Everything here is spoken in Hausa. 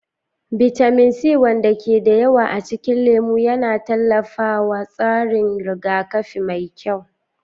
Bitamin C, wanda ke da yawa a cikin lemu, yana tallafawa tsarin rigakafi mai kyau.